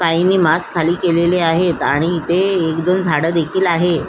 काहीनी mask खाली केलेले आहेत आणि इथे एक दोन झाड देखिल आहे.